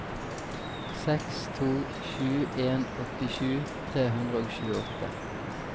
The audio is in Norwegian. seks to sju en åttisju tre hundre og tjueåtte